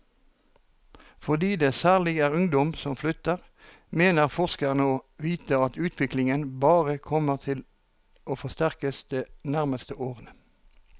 Fordi det særlig er ungdom som flytter, mener forskerne å vite at utviklingen bare kommer til å forsterkes de nærmeste årene.